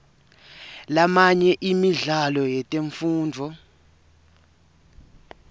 lamanye emidlalo yetemfundvo